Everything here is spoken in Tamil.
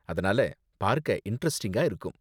அதனால பார்க்க இண்டரெஸ்ட்டிங்கா இருக்கும்.